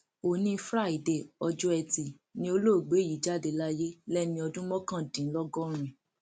òní fraide ọjọ etí ni olóògbé yìí jáde láyé lẹni ọdún mọkàndínlọgọrin